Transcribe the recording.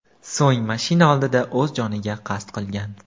So‘ng mashina oldida o‘z joniga qasd qilgan.